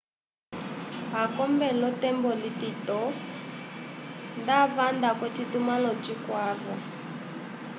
akombe lo tembo litito nda vanda ko citumalo cikwavo